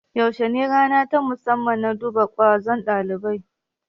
Yaushe ne rana ta musamman na duba ƙwazon dabibai?